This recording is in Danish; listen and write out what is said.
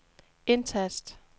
indtast